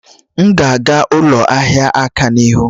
M ga aga ụlọ ihia aka n'ahụ?